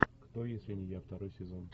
кто если не я второй сезон